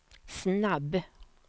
snabb